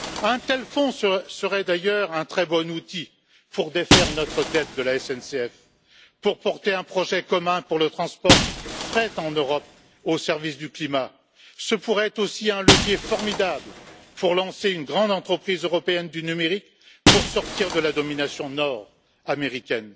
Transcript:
Un tel fonds serait d'ailleurs un très bon outil pour défaire notre dette de la SNCF, pour porter un projet commun pour le fret en Europe au service du climat, ce pourrait être aussi un levier formidable pour lancer une grande entreprise européenne du numérique pour sortir de la domination nord américaine.